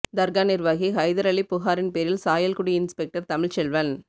தர்கா நிர்வாகி ஹைதர் அலி புகாரின் பேரில் சாயல்குடி இன்ஸ்பெக்டர் தமிழ்செல்வன்